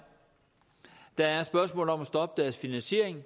der er spørgsmålet om at stoppe finansieringen